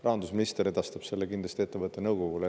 Rahandusminister edastab selle kindlasti ettevõtte nõukogule.